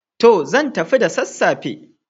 To! Zan tafi da sassafe.